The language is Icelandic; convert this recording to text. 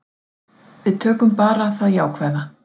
Við tökum bara það jákvæða.